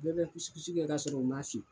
bɛɛ bɛ kusikusi kɛ k'a sɔrɔ o man si.